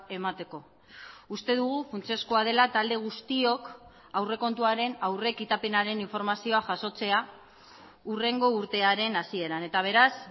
emateko uste dugu funtsezkoa dela talde guztiok aurrekontuaren aurrekitapenaren informazioa jasotzea hurrengo urtearen hasieran eta beraz